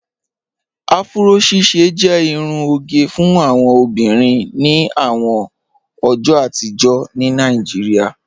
Afúró ṣíṣẹ jẹ irún ogẹ fún awọn obìnrin ní àwọn ọjọ́ àtìjọ̀ ní Naijíríà